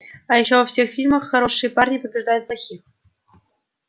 а ещё во всех фильмах хорошие парни побеждают плохих